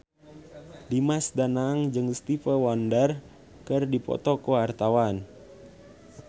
Dimas Danang jeung Stevie Wonder keur dipoto ku wartawan